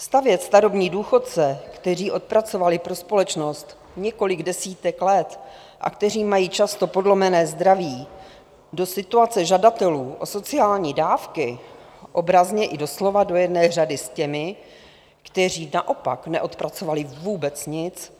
Stavět starobní důchodce, kteří odpracovali pro společnost několik desítek let a kteří mají často podlomené zdraví, do situace žadatelů o sociální dávky, obrazně i doslova do jedné řady s těmi, kteří naopak neodpracovali vůbec nic,